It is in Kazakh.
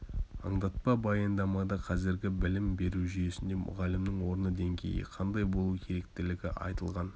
аңдатпа баяндамада қазіргі білім беру жүйесінде мұғалімнің орны деңгейі қандай болу керектігі айтылған